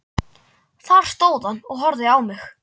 Þar stóð hann og horfði á mig.